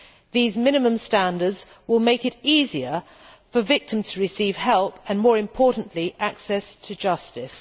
These minimum standards will make it easier for victims to receive help and, more importantly, access to justice.